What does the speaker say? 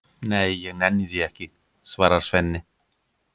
Nei, ég nenni því ekki, svarar Svenni.